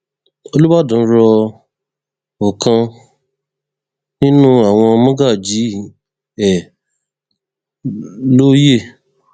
olùbàdàn rọ ọkan nínú àwọn mọgàjí ẹ lóye